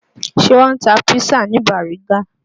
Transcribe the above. Ṣé wọ́n ń ta písà ní Bàrígá?